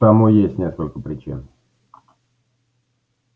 тому есть несколько причин